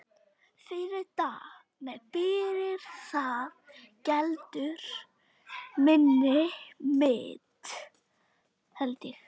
Fyrir það geldur minni mitt.